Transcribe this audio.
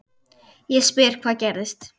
Ég spyr hvað gerðist?